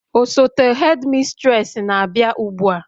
osote hedimistresi na-abịa ugbua